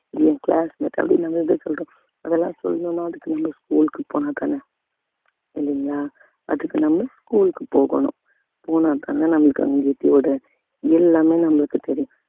இது என் classmate அப்படின்னு நாம இதா சொல்றோம் அதெல்லாம் சொல்லணும்ன்னா அதுக்கு நம்ம school க்கு போனாதானே இல்லைங்களா அதுக்கு நம்ம school க்கு போகணும் போனாத்தானே நம்மளுக்கு யோட எல்லாமே நம்மளுக்குத் தெரியும்